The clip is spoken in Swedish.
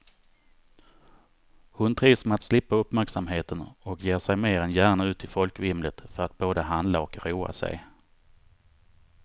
Hon trivs med att slippa uppmärksamheten och ger sig mer än gärna ut i folkvimlet för att både handla och roa sig.